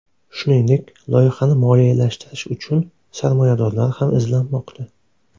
Shuningdek, loyihani moliyalashtirish uchun sarmoyadorlar ham izlanmoqda.